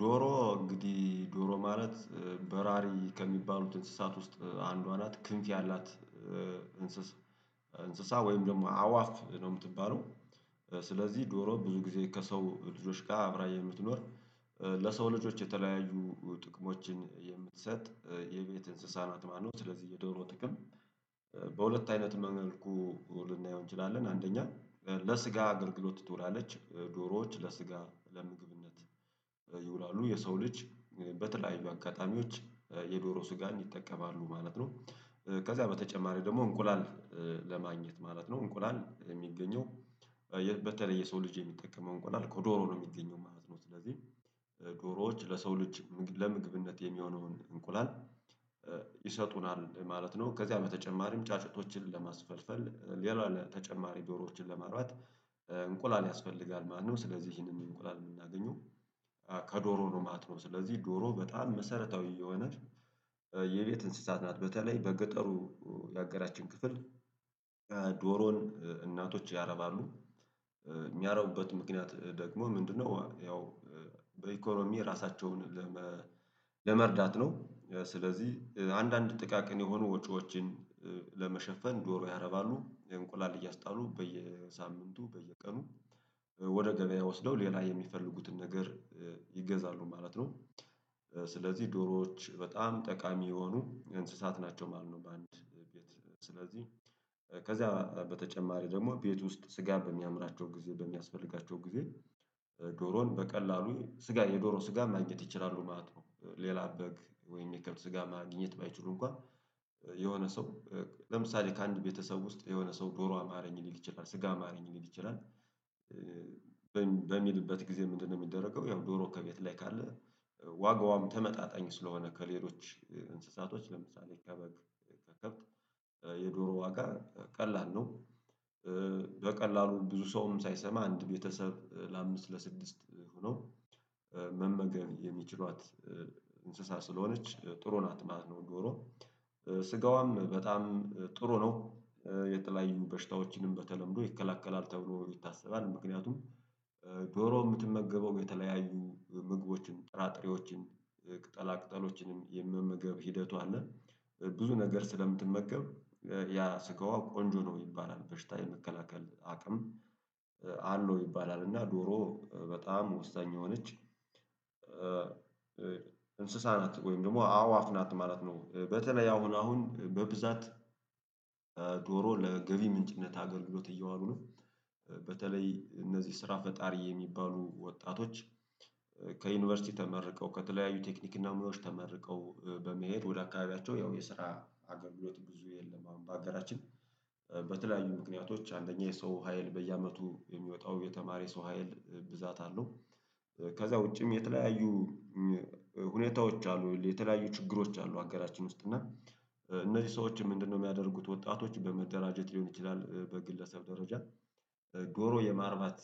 ዶሮ እንግዲህ ዶሮ ማለት በራሪ ከሚባሉት እንስሳት ውስጥ አንዷ ናት ክንፍ ያላት እንስሳ ወይም ደግሞ አዋፍ ነው ምትባለው። ስለዚህ ዶሮ ብዙ ጊዜ ከሰው ልጆች ጋር አብራ የምትኖር ለሰው ልጆች የተለያዩ ጥቅሞችን የምትሰጥ የቤት እንስሳ ናት ማለት ነው። ስለዚህ የዶሮ ጥቅም በሁለት አይነት መልኩ ልናየው እንችላለን። አንደኛ ለስጋ አገልግሎት ትውላለች ዶሮዎች ለስጋ ለምግብነት ይውላሉ የሰው ልጅ በተለያዩ አጋጣሚዎች የዶሮ ስጋን ይጠቀማሉ ማለት ነው። ከዛ በተጨማሪ ደግሞ እንቁላል ለማግኘት ማለት ነው። እንቁላል የሚገኘው በተለይ የሰው ልጅ የሚጠቀመው እንቁላል ከዶሮ ነው የሚገኘው ማለት ነው። ስለዚህ ዶሮዎች ለሰው ልጅ ለምግብነት የሚሆነውን እንቁላል ይሰጡናል ማለት ነው። ከዚያ በተጨማሪም ጫጩቶችን ለማስፈልፈል ሌላ ተጨማሪ ዶሮዎችን ለማርባት እንቁላል ያስፈልጋል ማለት ነው። ስለዚህ ይሄንን እንቁላል የምናገኘው ከዶሮ ነው ማለት ነው። ስለዚህ ዶሮ በጣም መሰረታዊ የሆነ የቤት እንስሳት ናት በተለይ በገጠሩ ያገራችን ክፍል ዶሮን እናቶች ያረባሉ የሚያረቡበት ምክንያት ደግሞ ምንድነው? ያው በኢኮኖሚ ራሳቸውን ለመርዳት ነው። ስለዚህ አንዳንድ ጥቃቅን የሆኑ ወጪዎችን ለመሸፈን ዶሮ ያረባሉ እንቁላል እያስጣሉ በየሳምንቱ በየቀኑ ወደ ገበያ ወስደው ሌላ የሚፈልጉትን ነገር ይገዛሉ ማለት ነው። ስለዚህ ዶሮዎች በጣም ጠቃሚ የሆኑ እንስሳት ናቸው ማለት ነው። በአንድ ቤት ስለዚህ ከዛ በተጨማሪ ደግሞ ቤት ውስጥ ስጋ በሚያምራቸው ጊዜ በሚያስፈልጋቸው ጊዜ ዶሮን በቀላሉ ስጋ የዶሮ ስጋ ማግኘት ይችላሉ ማለት ነው። ሌላ በግ ወይም የሚከብድ ስጋ ማግኘት ባይችሉ እንኳን የሆነ ሰው ለምሳሌ ከአንድ ቤተሰብ ውስጥ የሆነ ሰው ዶሮ አማረኝ ሊል ይችላል ስጋ አማረኝ ሊል ይችላል። በሚልበት ጊዜ ምንድነው? የሚደረገው ያው ዶሮ ከቤት ላይ ካለ ዋጋዋም ተመጣጣኝ ስለሆነ ከሌሎች እንስሳቶች ለምሳሌ ከበግ ከከብት የዶሮ ዋጋ ቀላል ነው። በቀላሉ ብዙ ሰውም ሳይሰማ አንድ ቤተሰብ ለአምስት ለስድስት ሆኖ መመገብ የሚችሏት እንስሳ ስለሆነች ጥሩ ናት ማለት ነው። ዶሮ ስጋዋም በጣም ጥሩ ነው። የተለያዩ በሽታዎችንም በተለምዶ ይከላከላል ተብሎ ይታሰባል ምክንያቱም የምትመገበው የተለያዩ ምግቦችን ጥራጥሬዎችን ቅጠሎችንም የመመገብ ሂደቷ አለ። ብዙ ነገር ስለምትመገብ ያ ስጋዋ ቆንጆ ነው ይባላል በሽታ የመከላከል አቅም አለው ይባላል። እና ዶሮ በጣም ወሳኝ የሆነች እንስሳ ናት ወይም ደግሞ አዋፍ ናት ማለት ነው። በተለይ አሁን አሁን በብዛት ለገቢ ምንጭነት አገልግሎት እየዋሉ ነው። በተለይ እነዚህ ስራ ፈጣሪ የሚባሉ ወጣቶች ከዩኒቨርሲቲ ተመርቀው ከተለያዩ ቴክኒክ እና ሙያዎች ተመርቀው በመሄድ ወደ አካባቢያቸው ያው የስራ አገለግሎት ብዙ የለም። አሁን በአጋራችን ምክንያቶች አንደኛ የሰው ሀይል በየአመቱ የሚወጣው የተማረ የሰው ሀይል ብዛት አለው። ከዛ ውጪም የተለያዩ ሁኔታዎች አሉ። የተለያዩ ችግሮች አሉ አገራችን ውስጥ እና እነዚህ ሰዎችም ምንድነው የሚያደርጉት? ወጣቶች በመደራጀት ሊሆን ይችላል በግለሰብ ደረጃ ዶሮ የማርባት